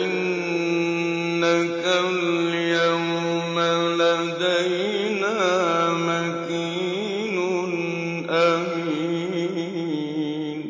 إِنَّكَ الْيَوْمَ لَدَيْنَا مَكِينٌ أَمِينٌ